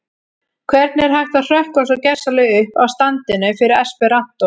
Hvernig er hægt að hrökkva svo gersamlega upp af standinum fyrir esperantó?